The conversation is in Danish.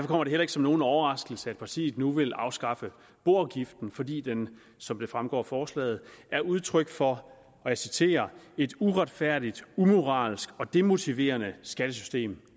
kommer det heller ikke som nogen overraskelse at partiet nu vil afskaffe boafgiften fordi den som det fremgår af forslaget er udtryk for og jeg citerer et uretfærdigt umoralsk og demotiverende skattesystem